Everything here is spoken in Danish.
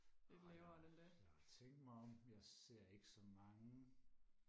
ej lad mig lad mig tænke mig om jeg ser ikke så mange